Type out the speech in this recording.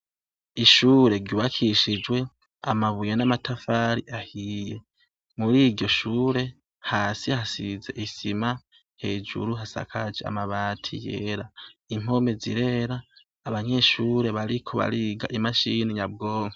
Ishuri ryubakishijwe amabuye n'amatafari ahiye muriryo shure hasi hasize isima hejuru hasakajwe amabati yera impome zirera abanyeshure bariko bariga imashine nyabwonko.